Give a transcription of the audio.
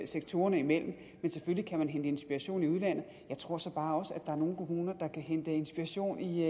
sektorerne imellem men selvfølgelig kan man hente inspiration i udlandet jeg tror så bare også at er nogle kommuner der kan hente inspiration i